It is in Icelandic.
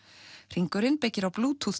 hringurinn byggir á